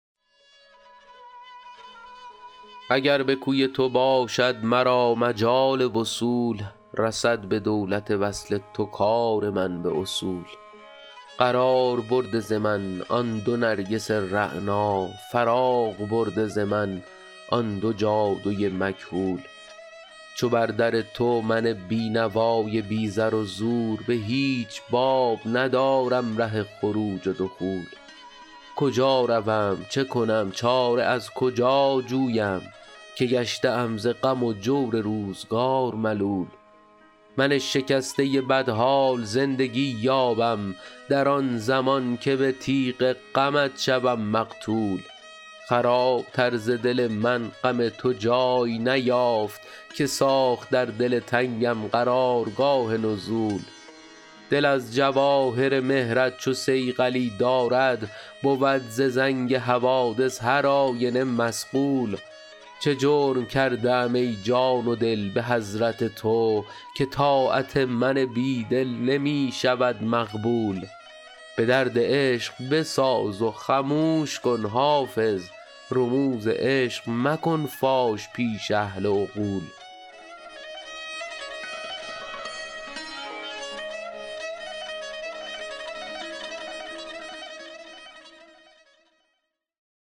اگر به کوی تو باشد مرا مجال وصول رسد به دولت وصل تو کار من به اصول قرار برده ز من آن دو نرگس رعنا فراغ برده ز من آن دو جادو ی مکحول چو بر در تو من بینوا ی بی زر و زور به هیچ باب ندارم ره خروج و دخول کجا روم چه کنم چاره از کجا جویم که گشته ام ز غم و جور روزگار ملول من شکسته بدحال زندگی یابم در آن زمان که به تیغ غمت شوم مقتول خراب تر ز دل من غم تو جای نیافت که ساخت در دل تنگم قرار گاه نزول دل از جواهر مهر ت چو صیقلی دارد بود ز زنگ حوادث هر آینه مصقول چه جرم کرده ام ای جان و دل به حضرت تو که طاعت من بیدل نمی شود مقبول به درد عشق بساز و خموش کن حافظ رموز عشق مکن فاش پیش اهل عقول